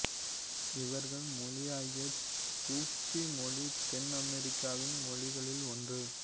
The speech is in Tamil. இவர்கள் மொழியாகிய தூப்பி மொழி தென் அமெரிக்காவின் மொழிகளில் ஒன்று